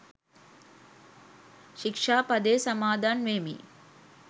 ශික්‍ෂා පදය සමාදන් වෙමි.